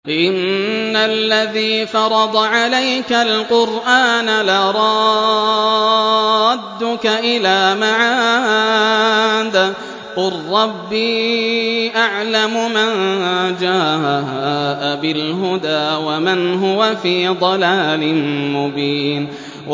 إِنَّ الَّذِي فَرَضَ عَلَيْكَ الْقُرْآنَ لَرَادُّكَ إِلَىٰ مَعَادٍ ۚ قُل رَّبِّي أَعْلَمُ مَن جَاءَ بِالْهُدَىٰ وَمَنْ هُوَ فِي ضَلَالٍ مُّبِينٍ